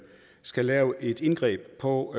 skal lave et indgreb på